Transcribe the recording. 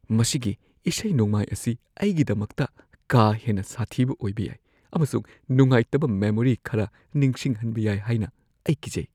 ꯃꯁꯤꯒꯤ ꯏꯁꯩ-ꯅꯣꯡꯃꯥꯏ ꯑꯁꯤ ꯑꯩꯒꯤꯗꯃꯛꯇ ꯀꯥ ꯍꯦꯟꯅ ꯁꯥꯊꯤꯕ ꯑꯣꯏꯕ ꯌꯥꯏ ꯑꯃꯁꯨꯡ ꯅꯨꯡꯉꯥꯏꯇꯕ ꯃꯦꯃꯣꯔꯤ ꯈꯔ ꯅꯤꯡꯁꯤꯡꯍꯟꯕ ꯌꯥꯏ ꯍꯥꯏꯅ ꯑꯩ ꯀꯤꯖꯩ꯫